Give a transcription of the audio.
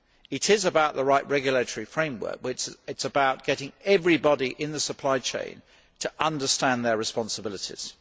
It is about the right regulatory framework, which means getting everybody in the supply chain to understand their responsibilities.